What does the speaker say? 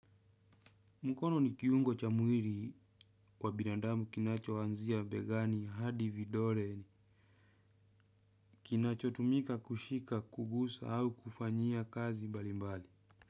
Mkono ni kiungo cha mwili kwa binadamu kinachoanzia begani hadi vidoleni kinachotumika kushika, kugusa au kufanyia kazi mbalimbali.